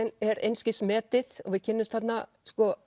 er einskis metið og við kynnumst þarna